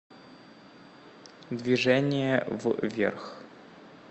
движение вверх